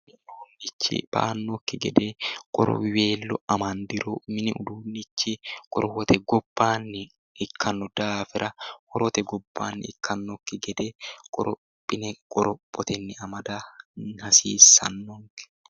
mini uduunnichi ba'annokki gede qorowiweello amandiro mini uduunnichi qorowote gobbaanni ikkanno daafira hote gobbaanni ikkannokki gede qorophine qorophotenni amada hasiissannonke.